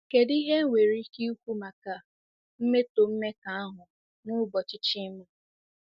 Kedu ihe enwere ike ikwu maka mmetọ mmekọahụ n'ụbọchị Chima?